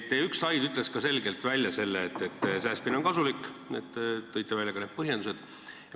Teie üks slaid näitas selgelt, et säästmine on kasulik, ja te tõite välja ka põhjendused.